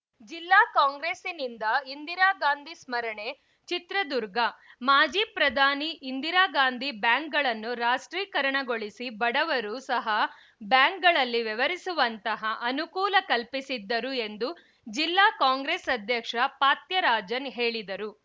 ಜಿಲ್ಲಾ ಕಾಂಗ್ರೆಸ್‌ನಿಂದ ಇಂದಿರಾಗಾಂಧಿ ಸ್ಮರಣೆ ಚಿತ್ರದುರ್ಗ ಮಾಜಿ ಪ್ರಧಾನಿ ಇಂದಿರಾಗಾಂಧಿ ಬ್ಯಾಂಕ್‌ಗಳನ್ನು ರಾಷ್ಟ್ರೀಕರಣಗೊಳಿಸಿ ಬಡವರು ಸಹ ಬ್ಯಾಂಕ್‌ಗಳಲ್ಲಿ ವ್ಯವಹರಿಸುವಂತಹ ಅನುಕೂಲ ಕಲ್ಪಿಸಿದ್ದರು ಎಂದು ಜಿಲ್ಲಾ ಕಾಂಗ್ರೆಸ್‌ ಅಧ್ಯಕ್ಷ ಫಾತ್ಯರಾಜನ್‌ ಹೇಳಿದರು